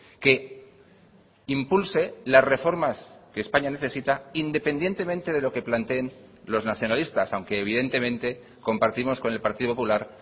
que impulse las reformas que españa necesita independientemente de lo que planteen los nacionalistas aunque evidentemente compartimos con el partido popular